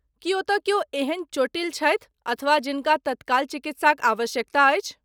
की ओतय क्यो एहन चोटिल छथि अथवा जिनका तत्काल चिकित्साक आवश्यकता अछि?